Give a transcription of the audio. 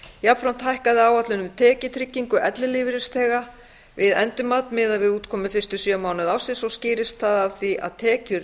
jafnframt hækkaði áætlun um tekjutryggingu ellilífeyrisþega við endurmat miðað við útkomu fyrstu sjö mánuði ársins og skýrist það af því að tekjur